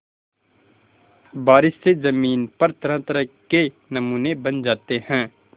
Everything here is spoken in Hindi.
बारिश से ज़मीन पर तरहतरह के नमूने बन जाते हैं